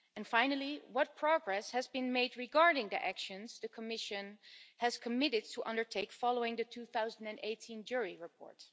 Finally, what progress has been made regarding the actions the Commission has committed to undertake following the 2018 JURI Committee report?